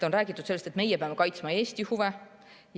On räägitud sellest, et meie peame kaitsma Eesti huve.